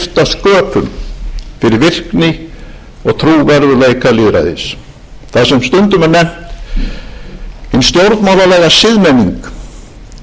sköpum fyrir virkni og trúverðugleika lýðræðis það sem stundum er nefnt hin stjórnmálalega siðmenning getur ekki síður en einstök ákvæði stjórnarskrár